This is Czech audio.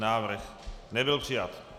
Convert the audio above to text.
Návrh nebyl přijat.